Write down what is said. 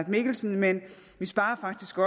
mikkelsen men vi sparer faktisk